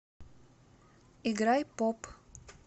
играй поп